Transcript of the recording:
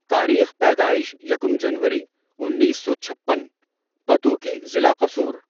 تاریخ پیدائش یکم جنوری انیس سو چھپن، پتوکی ضلع قصور